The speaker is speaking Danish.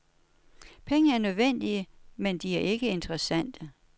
Penge er nødvendige, men de er ikke interessante.